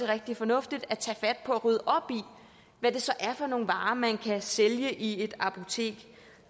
rigtig fornuftigt at tage fat på at rydde op i hvad det så er for nogle varer man kan sælge i et apotek